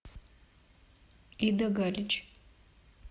ида галич